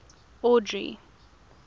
audrey